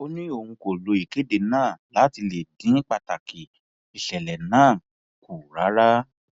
ó ní òun kò lo ìkéde náà láti lè dín pàtàkì ìṣẹlẹ náà kù rárá